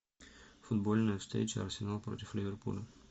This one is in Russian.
футбольная встреча арсенал против ливерпуля